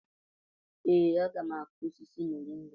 Ee, a ga m akụ osisi moringa..